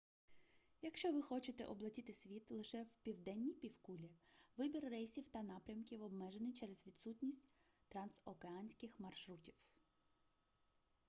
якщо ви хочете облетіти світ лише в південній півкулі вибір рейсів та напрямків обмежений через відсутність трансокеанських маршрутів